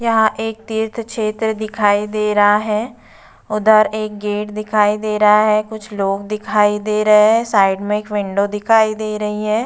यहां एक तीर्थ क्षेत्र दिखाई दे रहा है। उधर एक गेट दिखाई दे रहा है। कुछ लोग दिखाई दे रहे हैं। साइड में एक विंडो दिखाई दे रही है।